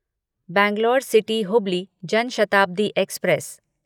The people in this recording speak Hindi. Bangalore city Hubli Jan Shatabdi express